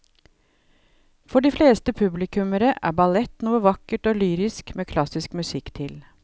For de fleste publikummere er ballett noe vakkert og lyrisk med klassisk musikk til.